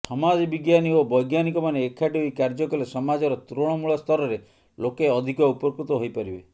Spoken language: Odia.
ସମାଜବିଜ୍ଞାନୀ ଓ ବ୘ଜ୍ଞାନିକମାନେ ଏକାଠି ହୋଇ କାର୍ଯ୍ୟ କଲେ ସମାଜର ତୃଣମୂଳସ୍ତରରେ ଲୋକେ ଅଧିକ ଉପକୃତ ହୋଇପାରିବେ